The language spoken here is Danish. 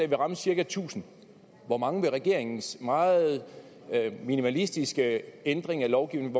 ramme cirka tusind hvor mange vil regeringens meget minimalistiske ændring af lovgivningen